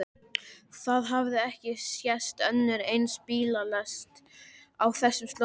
Það hafði ekki sést önnur eins bílalest á þessum slóðum.